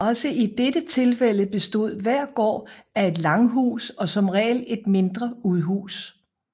Også i dette tilfælde bestod hver gård af et langhus og som regel et mindre udhus